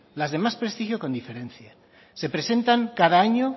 las de más prestigio con diferencia se presentan cada año